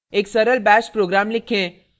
एक सरल bash program लिखें